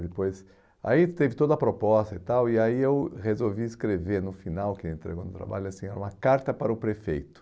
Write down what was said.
Depois, aí teve toda a proposta e tal, e aí eu resolvi escrever no final, que ele entregou no trabalho, assim, uma carta para o prefeito.